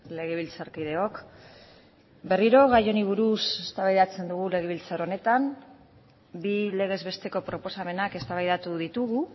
legebiltzarkideok berriro gai honi buruz eztabaidatzen dugu legebiltzar honetan bi legez besteko proposamenak eztabaidatu ditugu